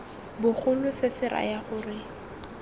bogolo se se raya gore